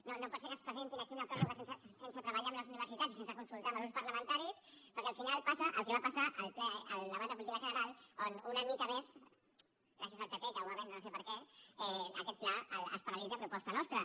no no pot ser que ens presentin aquí una pròrroga sense treballar amb les universitats i sense consultar ho amb els grups parlamentaris perquè al final passa el que va passar al ple al debat de política general on una mica més gràcies al pp que ho va vendre no sé per què aquest pla es paralitza a proposta nostra